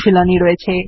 অনুশীলনী